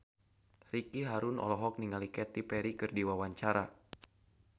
Ricky Harun olohok ningali Katy Perry keur diwawancara